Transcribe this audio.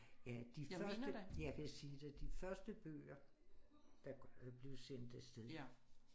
Ja de første jeg er ved at sige dig de første bøger der blev sendt afsted